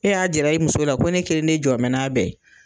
E y'a jira i muso la ko ne kelen ne jɔ bɛ n'a bɛ ye.